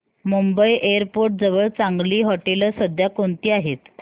Mumbai airport जवळ चांगली हॉटेलं सध्या कोणती आहेत